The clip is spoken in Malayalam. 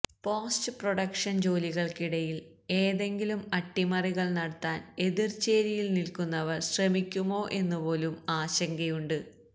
പോസ്റ്റ് പ്രൊഡക്ഷൻ ജോലികൾക്കിടയിൽ ഏതെങ്കിലും അട്ടിമറികൾ നടത്താൻ എതിർചേരിയിൽ നിൽക്കുന്നവർ ശ്രമിക്കുമോ എന്നുപോലും ആശങ്കയുണ്ട്